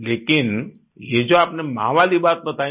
लेकिन ये जो आपने माँ वाली बात बताई न